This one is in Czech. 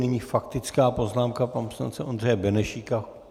Nyní faktická poznámka pana poslance Ondřeje Benešíka.